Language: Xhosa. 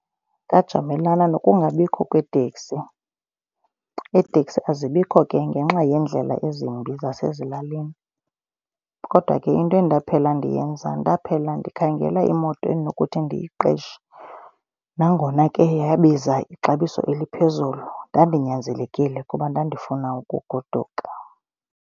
Ndajamelana nokungabikho kweetekisi, iiteksi azibikho ke ngenxa yeendlela ezimbi zasezilalini. Kodwa ke into endaphela ndiyenza ndaphela ndikhangela imoto endinokuthi ndiyiqeshe nangona ke yabiza ixabiso eliphezulu ndandinyanzelekile kuba ndandifunda ukugoduka.